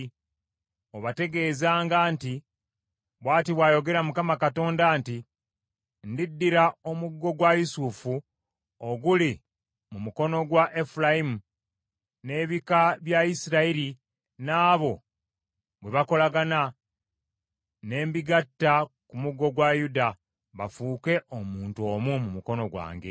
Obategeezanga nti, Bw’ati bw’ayogera Mukama Katonda nti, ‘Ndiddira omuggo gwa Yusufu oguli mu mukono gwa Efulayimu, n’ebika bya Isirayiri n’abo bwe bakolagana, ne mbigatta ku muggo gwa Yuda, bafuuke omuntu omu mu mukono gwange.’